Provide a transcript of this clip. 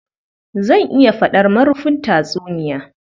Zan iya faɗar marufin tatsuniya